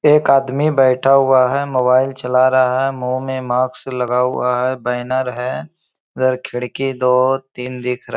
एक आदमी बैठा हुआ है मोबाइल चला रहा है मुँह में मास्क लगा हुआ है बैनर है इधर खिड़की दो तीन दिख रह --